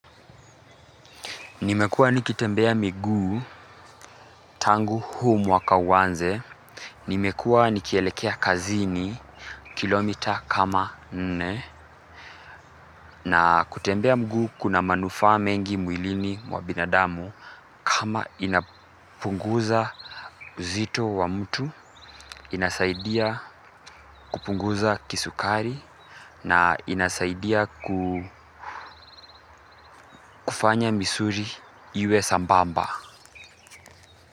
Nimekuwa nikitembea miguu tangu huu mwaka uanze, nimekuwa nikielekea kazini kilomita kama nne na kutembea mguu kuna manufaa mengi mwilini wa binadamu kama inapunguza uzito wa mtu, inasaidia kupunguza kisukari na inasaidia ku kufanya misuli iwe sambamba.